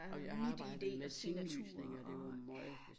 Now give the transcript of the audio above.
Og MitID signaturer og ja